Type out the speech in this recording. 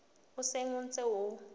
o seng o ntse o